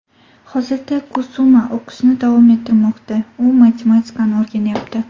Hozirda Kusuma o‘qishni davom ettirmoqda: u matematikani o‘rganyapti.